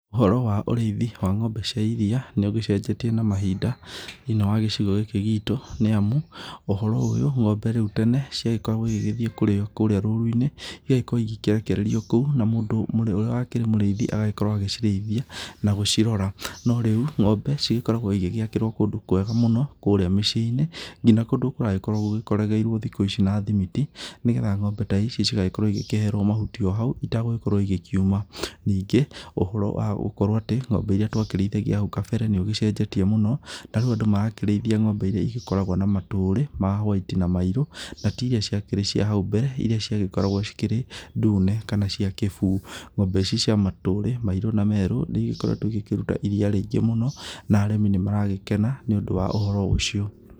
Ũhoro wa ũrĩithi wa ng'ombe cia iria nĩ ũgĩcenjetie na mahinda thĩinĩ wa gĩcigo gĩkĩ gitũ nĩamu ũhoro ũyũ ng'ombe rĩu tene ciagĩkoragwo igĩthiĩ kũrĩa rũru-inĩ igagĩkorwo ikĩrekererio kũu na mũndũ ũrĩa wakĩrĩ mũrĩithi agagĩkorwo agĩcirĩithia na gũcirora no rĩu ng'ombe cigĩkoragwo cigĩakĩrwo kũndũ kwega mũno kũrĩa mĩciĩ-inĩ nginya kũndũ kũragĩkorwo gũkorogeirio thikũ ici na thimiti nĩgetha ng'ombe ta ici igagĩkorwo ikĩherwo mahuti o hau itagũkorwo igĩkiuma. Ningĩ ũhoro wa gũkorwo atĩ ng'ombe irĩa twakĩrĩithagia hau kambere nĩ ũgĩcenjetie mũno tarĩu andũ marakĩrĩithia ng'ombe irĩa igĩkoragwo na matũrĩ ma whaiti na mairũ na tiirĩa ciakĩrĩ cia hau mbere irĩa ciagĩkoragwo cikĩrĩ ndune kana cia kĩbu, ng'ombe ici cia matũrĩ mairũ na merũ nĩ igĩkoretwo igĩkĩruta iria rĩingĩ mũno na arĩmi nĩ maragĩkena nĩũndũ wa ũhoro ũcio.